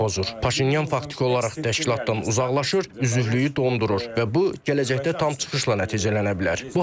Paşinyan faktiki olaraq təşkilatdan uzaqlaşır, üzvlüyü dondurur və bu gələcəkdə tam çıxışla nəticələnə bilər.